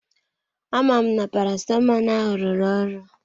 Amam na parasitamọl ahụ rụrụ ọrụ?